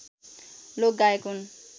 लोकगायक हुन्